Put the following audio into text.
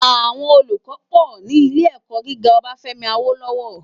Awòn ólúkò pò ni ilé èkò gigá Obafemi Awolowo